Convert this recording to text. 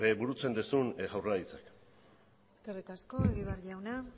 burutzen duzun jaurlaritzak eskerrik asko egibar jauna